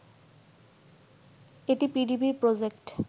এটি পিডিবির প্রজেক্ট